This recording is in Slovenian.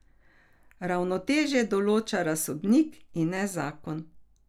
Ravnotežje določa razsodnik, in ne zakon.